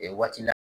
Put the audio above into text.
waati la